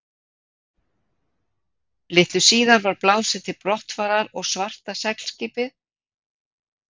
Litlu síðar var blásið til brottfarar og svarta seglskipið